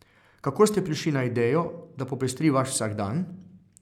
Kako ste prišli na idejo, da popestri vaš vsakdan?